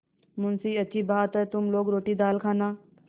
मुंशीअच्छी बात है तुम लोग रोटीदाल खाना